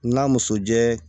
N'a muso jɛ